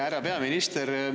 Härra peaminister!